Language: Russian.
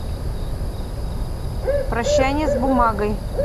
прощание с бумагой